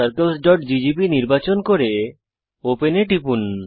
concentriccirclesজিজিবি নির্বাচন করে ওপেন এ টিপুন